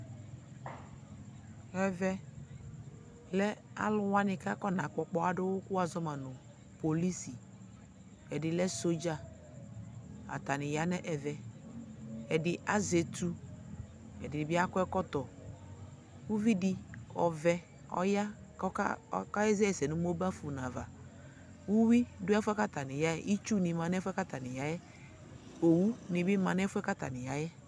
Ɛvɛ lɛ alʋwanɩ k'akɔna kpɔ ɔkpaɣa dʋwʋ kʋ wʋazɔ ma nʋ kpolusi ;ɛdɩ lɛ sɔdza , atanɩ ya nʋ ɛvɛ Ɛdɩ azɛ etu , ǝdɩnɩ bɩ akɔ ɛkɔtɔ Uvidi ɔvɛ ɔya k'ɔka ɔka ɣɛsɛ nʋ megafoni ava Uyui dʋ ɛfʋɛ k'atanɩ yaɛ, itsunɩ ma n'ɛfʋɛ k'atanɩ yaɛ , owudɩ bɩ ma n'ɛfʋɛ k'atanɩ yaɛ